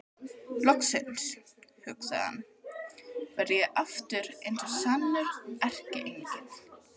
Loksins, hugsaði hann, verð ég aftur eins og sannur erkiengill.